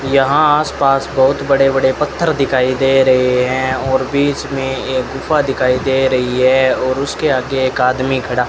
यहां आस पास बहुत बड़े बड़े पत्थर दिखाई दे रहे हैं और बीच में एक गुफा दिखाई दे रही है और उसके आगे एक आदमी खड़ा --